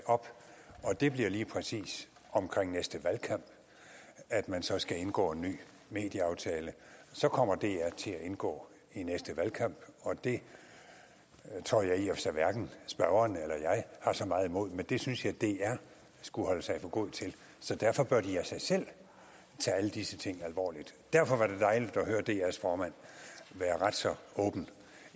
op og det bliver lige præcis omkring næste valgkamp at man så skal indgå en ny medieaftale så kommer dr til at indgå i næste valgkamp og det tror jeg i og for sig hverken spørgeren eller jeg har så meget imod men det synes jeg at dr skulle holde sig for god til så derfor bør de af sig selv tage alle disse ting alvorligt derfor var det dejligt at høre drs formand være ret så åben